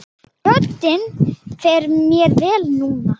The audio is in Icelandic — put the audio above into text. Röddin fer mér vel núna.